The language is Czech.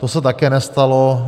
To se také nestalo.